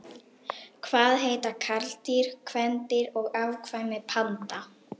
Hvað heita karldýr, kvendýr og afkvæmi panda?